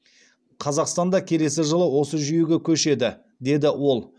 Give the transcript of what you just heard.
қазақстан да келесі жылы осы жүйеге көшеді деді ол